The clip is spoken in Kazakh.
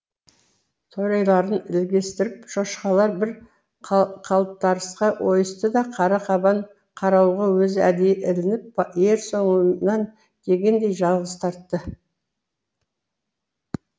торайларын ілестіріп шошқалар бір қалтарысқа ойысты да қара қабан қарауылға өзі әдейі ілініп ер соңымнан дегендей жалғыз тартты